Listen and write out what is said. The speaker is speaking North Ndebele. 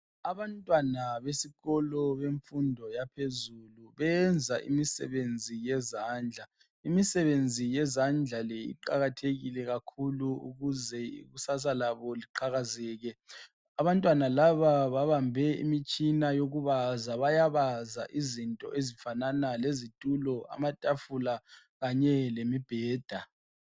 Abantwana besikolo bemfundo yaphezulu benza imisebenzi yezandla, imisebenzi yezandla le iqakathekile kakhulu ukuze ikusasa labo liqhakazeke. Abantwana laba babambe imitshina yokubaza bayabaza izinto ezifanana lezitulo, amatafula kanye lemibheda.